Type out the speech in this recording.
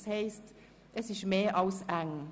Das heisst, es ist mehr als eng.